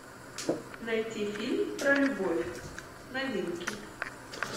найти фильм про любовь новинки